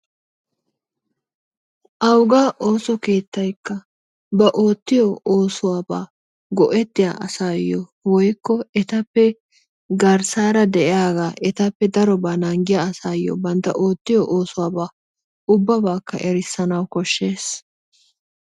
Awuggaa osso kettayikkaa ba ottiyoo ossuwaaba go'ettiyaa asayo woykko ettappee garsara diyagayo, ettappe darobaa nangiyaa asayoo banttaa ottiyo ossuwabbaa ubbabakkaa erisanawu koshees.